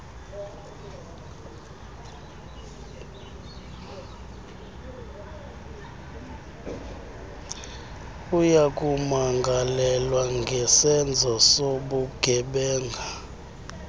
uyakumangalelwa ngesenzo sobugebenga